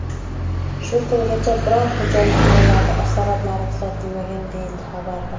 Shu kungacha biror xo‘jalik mollarida asoratlari kuzatilmagan”, deyiladi xabarda.